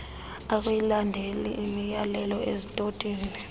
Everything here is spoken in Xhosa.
akuyilandeli imyalelo estotini